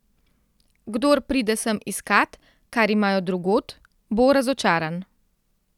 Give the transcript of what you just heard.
Kdor pride sem iskat, kar imajo drugod, bo razočaran.